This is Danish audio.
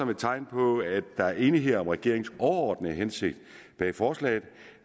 et tegn på at der er enighed om regeringens overordnede hensigt med forslaget